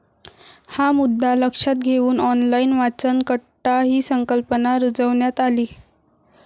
हा मुद्दा लक्षात घेऊन ऑनलाईन वाचनकट्टा हि संकल्पना रुजवण्यात आली.